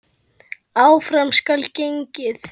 Áfram skal gengið.